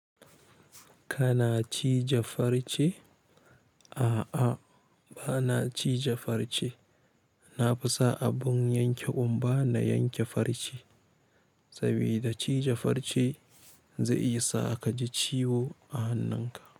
Kana cije farce? A'a, bana cije farce. Na fi sa abun yanke ƙumba na yanke farce, saboda cije farce zai iya sa ka ji ciwo a hannunka.